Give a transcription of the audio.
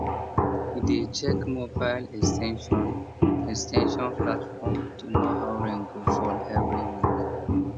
he dey check mobile ex ten sion ex ten sion platform to know how rain go fall every week